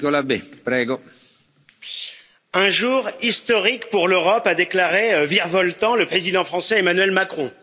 Monsieur le Président, un jour historique pour l'Europe, a déclaré virevoltant le président français, Emmanuel Macron.